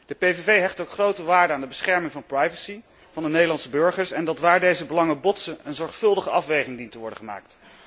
De PVV hecht ook grote waarde aan de bescherming van de privacy van de Nederlandse burger en is van oordeel dat, waar deze belangen botsen, een zorgvuldige afweging dient te worden gemaakt.